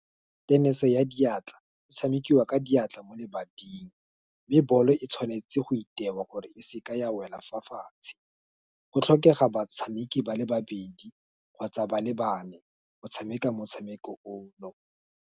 Tennis ya diatla, e tshamekiwa ka diatla mo lebating, mme ball e tshwanetse go itewa gore e seke ya wela fa fatshe, go tlhokega batshameki bale babedi, kgotsa ba le bane, go tshameka motshameko ono.